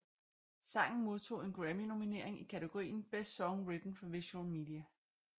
Sangen modtog en Grammynominering i kategorien Best Song Written for Visual Media